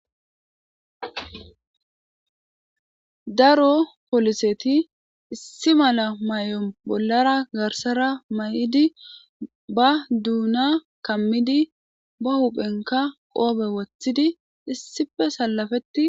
daro poliseti issi mala may7om bollara garsara may7idi ba duuna kammidi ba huphenka qoobe wothidi issife sallafeti